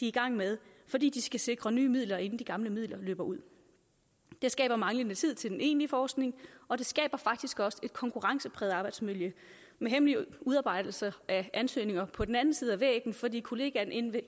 i gang med fordi de skal sikre nye midler inden de gamle midler løber ud det skaber manglende tid til den egentlige forskning og det skaber faktisk også et konkurrencepræget arbejdsmiljø med hemmelige udarbejdelser af ansøgninger på den anden side af væggen fordi kollegaen inde ved